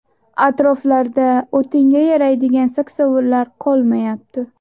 atroflikda o‘tinga yaraydigan saksovullar qolmayapti.